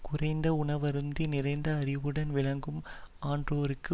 குறைந்த உணவருந்தி நிறைந்த அறிவுடன் விளங்கும் ஆன்றோர்க்கு